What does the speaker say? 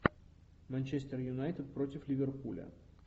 манчестер юнайтед против ливерпуля